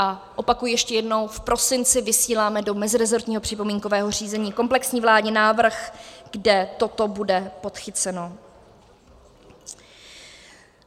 A opakuji ještě jednou, v prosinci vysíláme do mezirezortního připomínkového řízení komplexní vládní návrh, kde toto bude podchyceno.